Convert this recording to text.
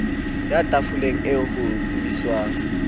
eya tafoleng eo ho tsebiswang